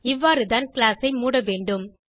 இவ்வாறுதான் கிளாஸ் ஐ மூட வேண்டும்